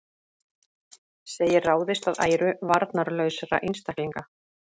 Segir ráðist að æru varnarlausra einstaklinga